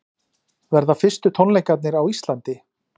Verða fyrstu tónleikarnir á Íslandi